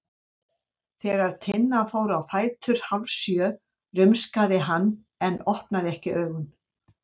Þegar Tinna fór á fætur hálfsjö rumskaði hann en opnaði ekki augun.